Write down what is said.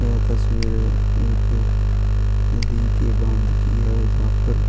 यह तस्वीर एक नदी के बांध की है जहां पर.